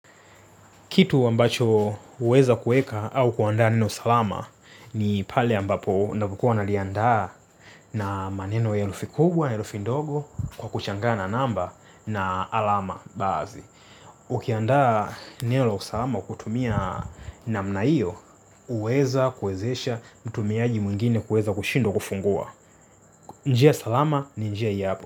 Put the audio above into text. Kitu ambacho uweza kueka au kuandaa neno salama ni pale ambapo navokua naliandaa na maneno ya elufi kubwa, ya herufi ndogo kwa kuchangana namba na alama baazi. Ukiandaa neno la usalama kutumia na mnaio uweza kuezesha mtumiaji mwingine kushindwa kufungua. Njia salama ni njia hii hapo.